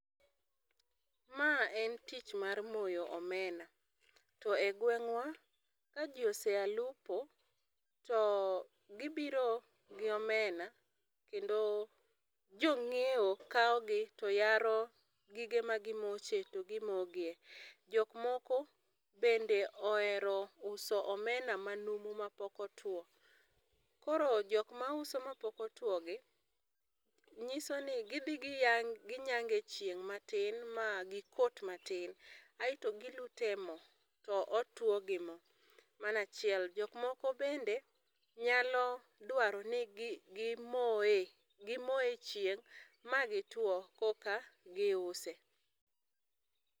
Ma en tich mar moyo omena to e gwengwa ka ji oseya lupo to gi biro gi omena kendo jo ng'iewo kawo gi to yaro gige ma gi moche to gi mo gi e.Jok moko bende ohero uso omena ma numu ma pok otwo. Koro jok ma uso ma pok otwo gi, ng'iso ni gi dhi gi nyange e chieng' ma tin ma gi kot ma tin aito gi lute e mo to otwo gi mo. Mano a chiel, jok moko bende nyalo dwaro ni gi moye e gi mo e chieng' ma gi two koka gi use.